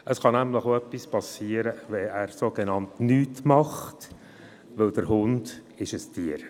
Es kann nämlich auch etwas passieren, wenn er sogenannt «nichts macht», denn der Hund ist ein Tier.